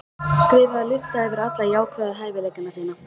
Skrifaðu lista yfir alla jákvæðu hæfileikana þína.